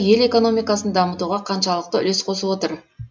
ел экономикасын дамытуға қаншалықты үлес қосып отыр